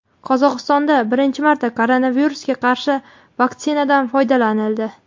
Qozog‘istonda birinchi marta koronavirusga qarshi vaktsinadan foydalanildi.